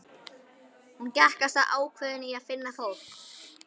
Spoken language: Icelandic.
Hún gekk af stað ákveðin í að finna fólk.